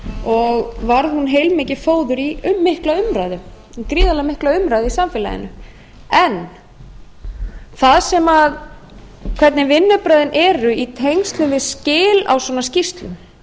og varð hún heilmikið fóður í gríðarlega mikla umræðu í samfélaginu en það hvernig vinnubrögðin eru í tengslum við skil á svona skýrslum